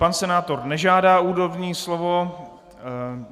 Pan senátor nežádá úvodní slovo.